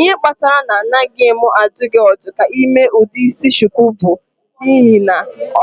Ihe kpatara na anaghị m adụ gị ọdụ ka ị mee ụdị isi shuku bụ n'ihi na